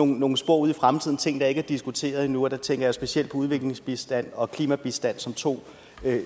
nogle spor ude i fremtiden altså ting der ikke er diskuteret endnu og der tænker jeg specielt på udviklingsbistand og klimabistand som to